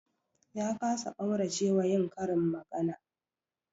Ya kasa ƙaurace wa yin karin magana